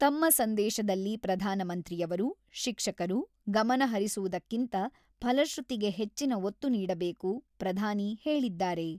ತಮ್ಮ ಸಂದೇಶದಲ್ಲಿ ಪ್ರಧಾನಮಂತ್ರಿಯವರು, ಶಿಕ್ಷಕರು, ಗಮನ ಹರಿಸುವುದಕ್ಕಿಂತ ಫಲಶ್ರುತಿಗೆ ಹೆಚ್ಚಿನ ಒತ್ತು ನೀಡಬೇಕು ಪ್ರಧಾನಿ ಹೇಳಿದ್ದಾರೆ.